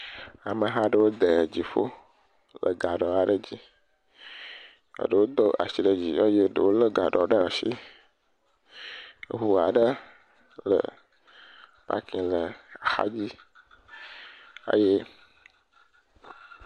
Ŋutsu aɖewo tsitre ɖe gakpo kpɔ aɖe dzi hele gakpo tɔm ɖe wo nɔnɔewo ŋu hele zɔzɔm ɖe eŋuti eye eŋu aɖe hã tɔ ɖe wo xa.